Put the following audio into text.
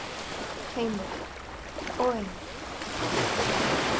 Heimir: Og einmitt.